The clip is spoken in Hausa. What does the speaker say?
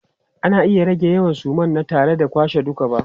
Ana iya rage yawan suma na tare da kwashe duka ba.